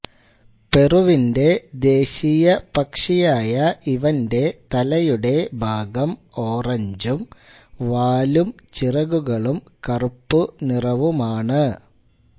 പെറുവിന്റെ ദേശീയ പക്ഷിയായ ഇവന്റെ തലയുടെ ഭാഗം ഓറഞ്ചും വാലും ചിറകുകളും കറുപ്പു നിറവുമാണ്